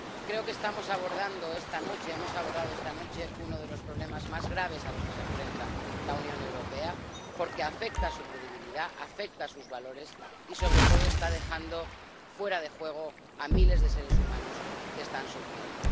Creo que hemos abordado esta noche uno de los problemas más graves a los que se enfrenta la Unión Europea porque afecta a su credibilidad, afecta a sus valores y, sobre todo, está dejando fuera de juego a miles de seres humanos que están sufriendo.